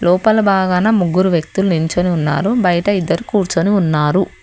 లోపల బాగాన ముగ్గురు వ్యక్తులు నించొని ఉన్నారు బయట ఇద్దరు కూర్చొని ఉన్నారు.